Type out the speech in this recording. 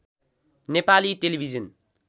Nepali television